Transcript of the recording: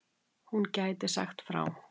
hún gæti sagt frá